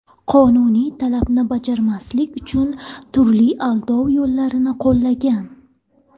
qonuniy talabni bajarmaslik uchun turli aldov yo‘llarini qo‘llagan.